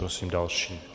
Prosím další.